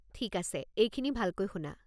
ঠিক আছে, এইখিনি ভালকৈ শুনা!